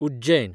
Ujjain